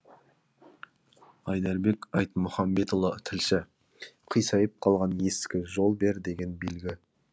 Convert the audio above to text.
айдарбек айтмұхамбетұлы тілші қисайып қалған ескі жол бер деген белгі